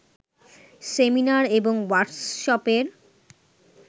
seminar এবং ওয়ার্কশপের